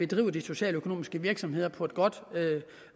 drive de socialøkonomiske virksomheder på et godt